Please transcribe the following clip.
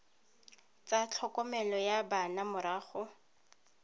tsa tlhokomelo ya bana morago